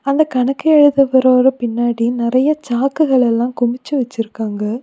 அந்த கணக்கு எழுதுறவரோட பின்னாடி நெறைய சாக்குகள் எல்லா குமிச்சி வச்சிருக்காங்க.